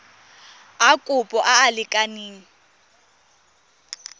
a kopo a a lekaneng